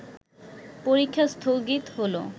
পরীক্ষা স্থগিত হলো